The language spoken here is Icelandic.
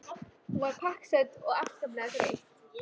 Hún var pakksödd og afskaplega þreytt.